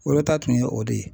Wolota tun ye o de ye.